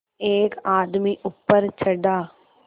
एक आदमी ऊपर चढ़ा